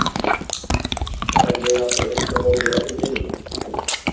Þar er ég alltaf einn á móti öllum hinum